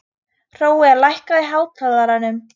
Hrói, lækkaðu í hátalaranum.